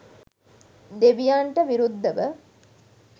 දෙවියන්ට විරුද්ධව.